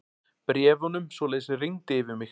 Bréfunum svoleiðis rigndi yfir mig.